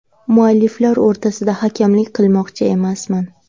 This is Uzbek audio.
Mualliflar o‘rtasida hakamlik qilmoqchi emasman.